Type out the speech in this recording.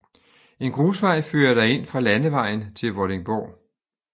En grusvej fører derind fra landevejen til Vordingborg